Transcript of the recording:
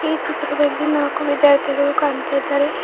ಈ ಚಿತ್ರದಲ್ಲಿ ನಾಕು ವಿದ್ಯಾರ್ಥಿಗಳು ಕಾಣ್ತಾ ಇದ್ದಾರೆ.